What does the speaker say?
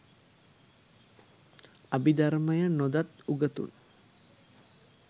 අභිධර්මය නොදත් උගතුන්